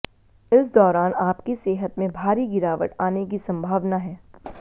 इस दौरान आपकी सेहत में भारी गिरावट आने की संभावना है